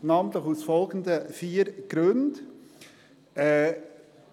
Dies namentlich aus den folgenden vier Gründen: Erstens